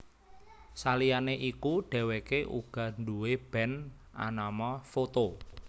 Saliyané iku dhèwèké uga nduwé band anama Foto